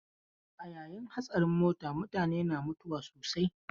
A yayin hatsarin mota mutane na mutuwa sosai.